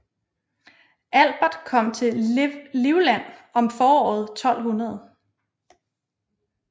Albert kom til Livland om foråret 1200